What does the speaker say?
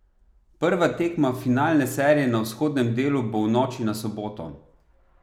Prva tekma finalne serije na vzhodnem delu bo v noči na soboto.